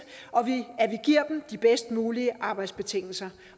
at vi giver dem de bedst mulige arbejdsbetingelser